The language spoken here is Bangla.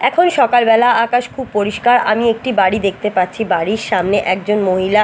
এখন সকালবেলা আকাশ খুব পরিষ্কার আমি একটি বাড়ি দেখতে পাচ্ছি বাড়ির সামনে একজন মহিলা--